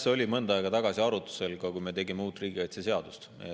See oli mõnda aega tagasi arutlusel, kui me tegime uut riigikaitseseadust.